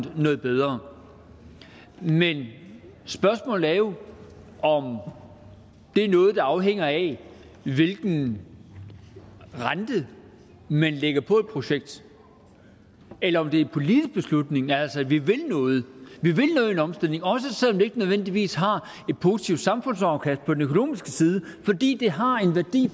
noget bedre men spørgsmålet er jo om det er noget der afhænger af hvilken rente man lægger på et projekt eller om det er en politisk beslutning altså at vi vil noget i en omstilling også selv om det ikke nødvendigvis har et positivt samfundsafkast på den økonomiske side fordi det har en værdi